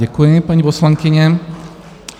Děkuji, paní poslankyně.